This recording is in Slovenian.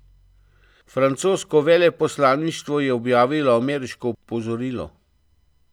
Francosko veleposlaništvo je objavilo ameriško opozorilo.